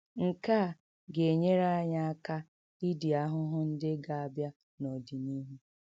Nke a ga - enyere anyị aka idi ahụhụ ndị ga - abịa n’ọdịnihu.